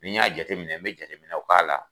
Ni n y'a jateminɛ , n bɛ jateminɛw k'a la.